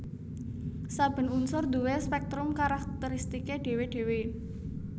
Saben unsur duwé spèktrum karakteristiké dhéwé dhéwé